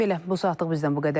Belə, bu saatlıq bizdən bu qədər.